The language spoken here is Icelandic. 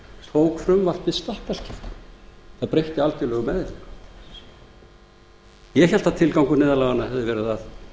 tók frumvarpið stakkaskiptum það breytti algjörlega um eðli ég hélt að tilgangur neyðarlaganna hefði verið að